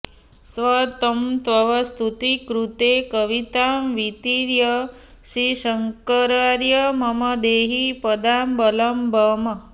स त्वं तव स्तुतिकृते कवितां वितीर्य श्रीशङ्करार्य मम देहि पदावलम्बम्